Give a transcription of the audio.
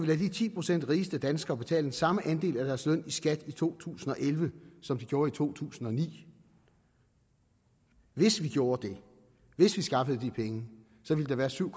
lade de ti procent rigeste danskere betale den samme andel af deres løn i skat i to tusind og elleve som de gjorde i to tusind og ni hvis vi gjorde det hvis vi skaffede de penge ville der være syv